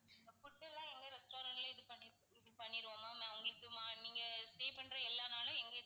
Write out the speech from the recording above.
food எல்லாம் எங்க restaurant லயே இது பண்ணி~ இது பண்ணிருவோம் ma'am உங்களுக்கு morning stay பண்ற எல்லா நாளும் இங்கேயே